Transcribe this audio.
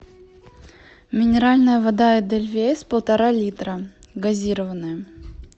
минеральная вода эдельвейс полтора литра газированная